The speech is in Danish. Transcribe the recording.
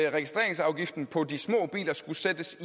registreringsafgiften på de små biler skulle sættes